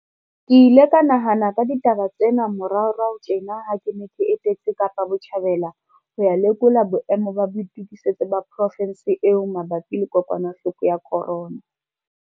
Ke ile ka nahana ka ditaba tsena moraorao tjena ha ke ne ke etetse Kapa Botjhabela ho ya lekola boemo ba boitokisetso ba provense eo mabapi le kokwanahloko ya corona.